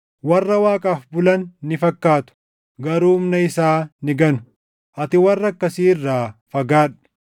warra Waaqaaf bulan ni fakkaatu; garuu humna isaa ni ganu. Ati warra akkasii irraa fagaadhu.